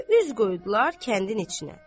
Və üz qoydular kəndin içinə.